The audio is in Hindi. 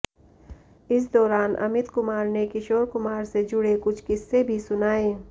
इस दौरान अमित कुमार ने किशोर कुमार से जुड़े कुछ किस्से भी सुनाए